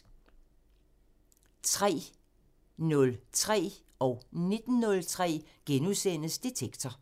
13:03: Detektor * 19:03: Detektor *